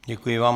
Děkuji vám.